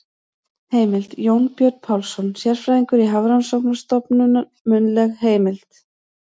Heimild: Jónbjörn Pálsson, sérfræðingur á Hafrannsóknarstofnun- munnleg heimild.